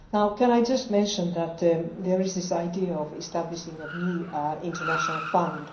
Can I just mention that there is an idea for establishing a new international fund?